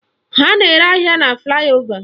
Ha na-ere ahịa na flaị ova